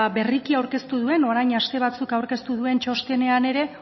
berriki aurkeztu duen orain aste batzuk aurkeztu duen txostenean ere